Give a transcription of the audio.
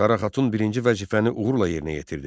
Sara xatun birinci vəzifəni uğurla yerinə yetirdi.